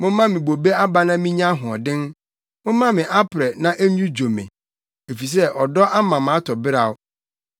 Momma me bobe aba na minya ahoɔden, momma me aprɛ na ennwudwo me, efisɛ ɔdɔ ama matɔ beraw.